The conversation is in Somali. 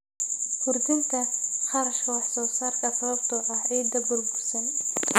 Kordhinta kharashka wax soo saarka sababtoo ah ciidda burbursan.